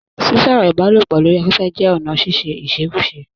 Sísọ̀rọ̀ ìbálòpọ̀ lori afẹfẹ jẹ́ ọ̀nà ṣiṣe íṣekúṣe.